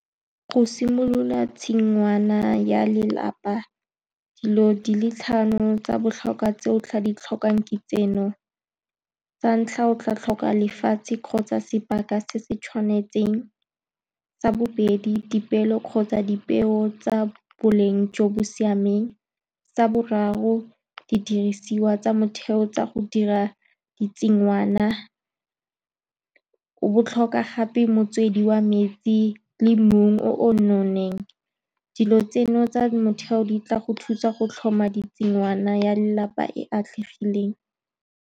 Go simolola tshingwana ya lelapa, dilo di le tlhano tsa botlhokwa tse o tla di tlhokang ke tseno, sa ntlha, o tla tlhoka lefatshe kgotsa sebaka se se tshwanetseng, sa bobedi, dipeelo kgotsa dipeo tsa boleng jo bo siameng, sa boraro, didirisiwa tsa motheo tsa go dira ditshingwana, o bo o tlhoka gape motswedi wa metsi le mmu o o nonneng. Dilo tseno tsa motheo di tla go thusa go tlhoma tshingwana ya lelapa e e atlegileng.